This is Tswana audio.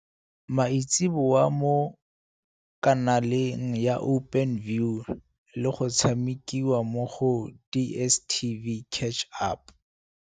maitseboa mo kanaleng ya Openview le go tshamekiwa mo go DSTV Catch-Up.